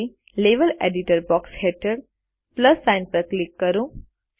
હવે level editor box હેઠળ plus sign પર ક્લિક કરો